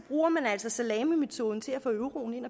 bruger man altså salamimetoden til at få euroen ind